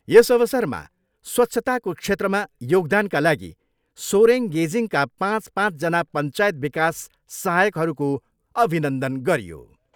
यस अवसरमा स्वच्छताको क्षेत्रमा योगदानका लागि सोरेङ गेजिङका पाँच पाँचजना पञ्चायत विकास सहायकहरूको अभिनन्दन गरियो।